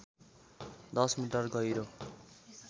१० metre गहिरो